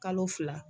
Kalo fila